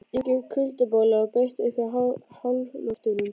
Enginn kuldaboli á beit uppi í háloftunum.